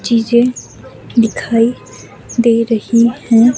चीजें दिखाई दे रही हैं।